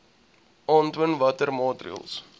aantoon watter maatreëls